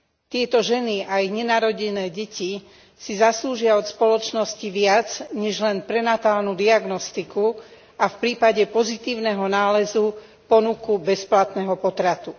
Tieto ženy aj nenarodené deti si zaslúžia od spoločnosti viac než len prenatálnu diagnostiku a v prípade pozitívneho nálezu ponuku bezplatného potratu.